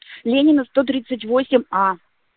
ленина сто тридцать восемь а